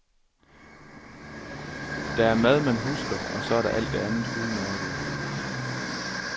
Der er mad, man husker, og så er der alt det andet udmærkede.